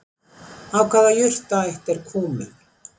Af hvaða jurtaætt er Kúmen?